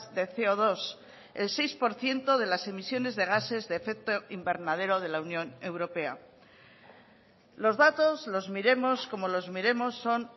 de ce o dos el seis por ciento de las emisiones de gases de efecto invernadero de la unión europea los datos los miremos como los miremos son